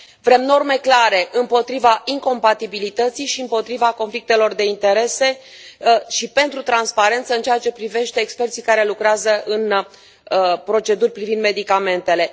Vrem norme clare împotriva incompatibilității și împotriva conflictelor de interese și pentru transparență în ceea ce privește experții care lucrează în proceduri privind medicamentele.